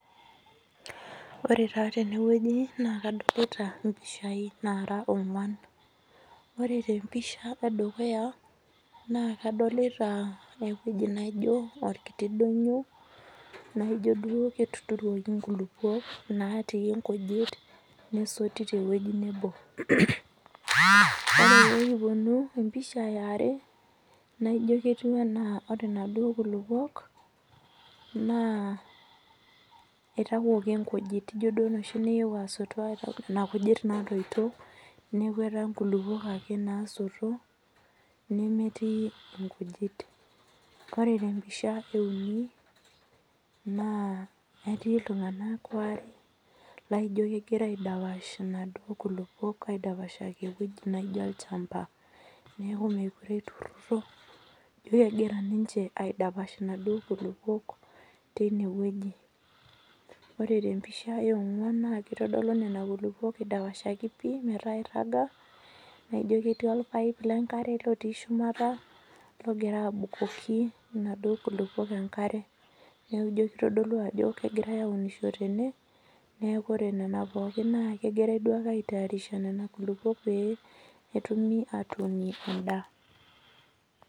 ore taa tene wueji naa kadolita mpishai nara oonguan oree tee mpisha edukuya naa kadolita ewueji naijio orkitok donyio naijio ketuturukii enkulupuok naatii nati nkujit nesotu tewueji nebo ore pee kipuonu empisha yaare naijio ketiu enaa ore naaduo kulupuok naa eitawuoki nkujit ijio duo enoshi niyewuo asotu nkujit natoito neeku etaa nkulupuok ake nasoto nemetii nkujit ore tee mpisha ee uni naa etii iltung'ana are laijio kegira aidapsh enaduo kulupuok aidapashaki ewuelji naijio olchamba kegira niche aidapash naaduo kulupuok teine wueji ore empisha ee ong'uan naa kitodolu Nena kulupuok eidapashaki pii metaa eiraga ijio ketii orpipe lee nkare otii shumata logira abukoki naaduo kulupuok enkare neeku ijio kitodolu Ajo kegirai aunisho tene neeku ore Nena pokin kegirai duake aitarish Nena kulupuok petumi atunie endaa